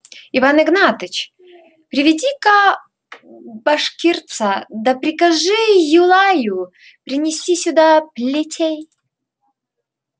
иван игнатьич приведи-ка башкирца да прикажи юлаю принести сюда плетей